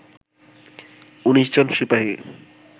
১৯ জন সিপাহি